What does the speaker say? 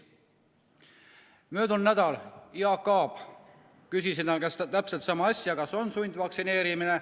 Möödunud nädalal küsisin Jaak Aabi käest täpselt sama asja, kas on sundvaktsineerimine.